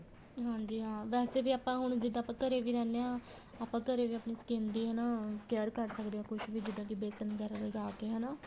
ਹਾਂਜੀ ਹਾਂ ਵੈਸੇ ਵੀ ਆਪਾਂ ਹੁਣ ਜਿੱਦਾਂ ਆਪਾਂ ਘਰੇ ਰਹਿੰਦੇ ਹਾਂ ਆਪਾਂ ਘਰੇ ਵੀ ਆਪਣੀ skin ਹਨਾ care ਕਰ ਸਕਦੇ ਹਾਂ ਕੁੱਛ ਵੀ ਜਿੱਦਾਂ ਵੇਸਨ ਵਗੈਰਾ ਲਗਾਕੇ ਹਨਾ